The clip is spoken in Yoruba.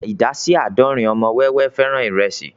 Ìdá sí àádọ́rin ọmọ wẹ́wẹ́ fẹ́ràn ìrẹsì